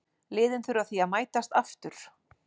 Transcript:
Liðin þurfa því að mætast aftur.